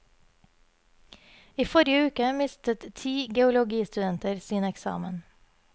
I forrige uke mistet ti geologistudenter sin eksamen.